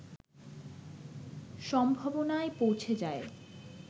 সম্ভবনায় পৌঁছে যায়